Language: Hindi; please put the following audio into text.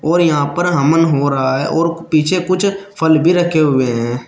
और यहां पर हमन हो रहा है और पीछे कुछ फल भी रखे हुए हैं।